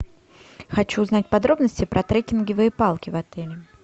хочу узнать подробности про трекинговые палки в отеле